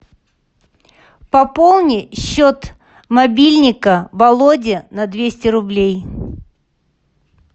пополни счет мобильника володи на двести рублей